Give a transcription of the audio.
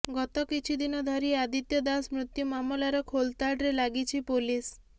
ଗତ କିଛି ଦିନ ଧରି ଆଦିତ୍ୟ ଦାଶ ମୃତ୍ୟୁ ମାମଲାର ଖୋଲତାଡ଼ରେ ଲାଗିଛି ପୋଲିସ୍